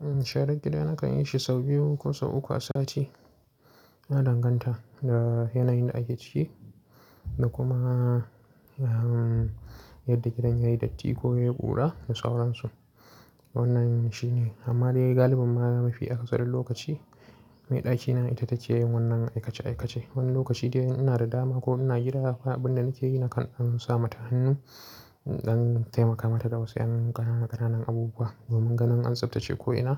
Sharan gida na kan yi shi sau biyu ko sau uku a sati. Ya danganta da yanayin da ake ciki da kuma yadda gidan yayi datti ko yayi ƙura da sauransu. Wannan shine amma dai galibin ma mafi akasarin lokaci mai ɗakina ita take yin wannan aikace-aikace. Wani lokaci idan ina da dama ko ina gida, ba abin da nake yi na kan ɗan sa mata hannu ɗan taimaka mata da wasu yan ƙanana ƙananan abubuwa domin ganin an tsabtace ko'ina